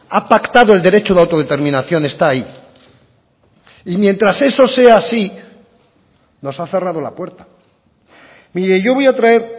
ha pactado el derecho de autodeterminación está ahí y mientras eso sea así nos ha cerrado la puerta mire yo voy a traer